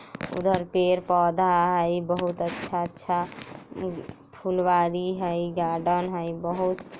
उधर पेर पौधा हई बहुत अच्छा-अच्छा मम फुलवारी हई गार्डोन हई बहुत --